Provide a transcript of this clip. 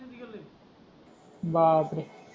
बापरे